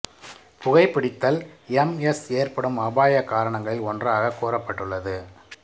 புகை பிடித்தல் M S ஏற்படும் அபாயக் காரணிகளில் ஒன்றாக கூறப்பட்டுள்ளது